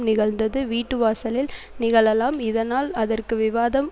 நிகழ்ந்தது வீட்டு வாசலில் நிகழலாம் இதனால் அதற்கு விவாதம்